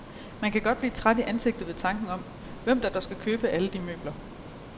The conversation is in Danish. Man kan godt blive træt i ansigtet ved tanken om, hvem der dog skal købe alle de møbler.